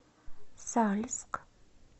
сальск